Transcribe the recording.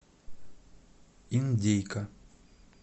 индейка